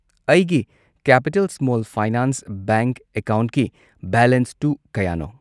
ꯑꯩꯒꯤ capital small finance bank ꯑꯦꯀꯥꯎꯟꯠꯀꯤ ꯕꯦꯂꯦꯟꯁꯇꯨ ꯀꯌꯥꯅꯣ?